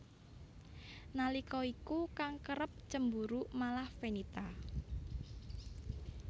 Nalika iku kang kerep cemburu malah Fenita